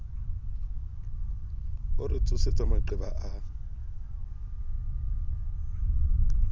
o re tsosetsa maqeba a